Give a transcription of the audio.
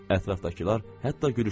Ətrafdakılar hətta gülüşdülər.